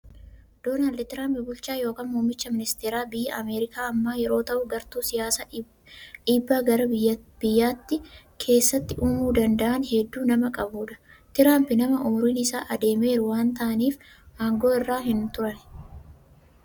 Doonald Tiraamb bulchaa yookiin muummicha ministeera biyya Ameerikaa ammaa yeroo ta'u, gartuu siyyaasaa dhiibbaa gaarii biyyattii keessatti uumuu danda'an hedduu nama qabudha. Tiraamp nama umuriin isaa adeemeeru waan ta'aniif, aangoo irra hin turani.